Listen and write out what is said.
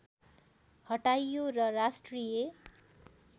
हटाइयो र राष्ट्रिय